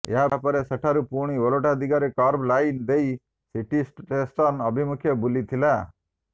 ଏହାପରେ ସେଠାରୁ ପୁଣି ଓଲଟା ଦିଗରେ କର୍ଭ ଲାଇନ ଦେଇ ସିଟି ଷ୍ଟେସନ ଅଭିମୁଖେ ବୁଲିଥିଲା